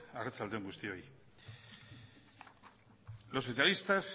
arratsalde on guztioi los socialistas